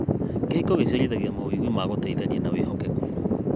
Kĩhiko gĩciarithagia mawĩgwi ma gũteithania na wĩhokeku.